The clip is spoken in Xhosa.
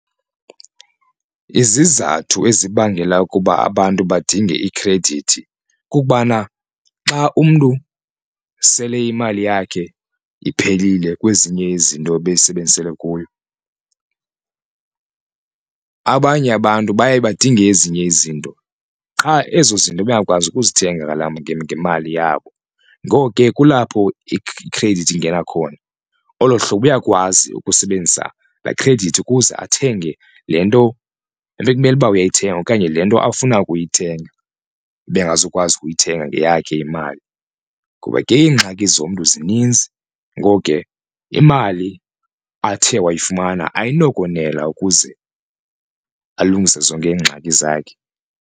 Izizathu ezibangela ukuba abantu badinge ikhredithi kukubana xa umntu sele imali yakhe iphelile kwezinye izinto ebeyisebenzisele kuyo, abanye abantu baye badinge ezinye izinto qha ezo zinto bangakwazi ukuzithenga ngemali yabo. Ngoko ke kulapho ikhredithi ingena khona olo hlobo uyakwazi ukusebenzisa laa khredithi ukuze athenge le nto ebekumele uyayithenga okanye le nto afuna ukuyithenga ebengazukwazi ukuyithenga ngeyakhe imali, ngoba ke iingxaki zomntu zininzi ngoko ke imali athe wayifumana ayinokonela ukuze alungise zonke iingxaki zakhe.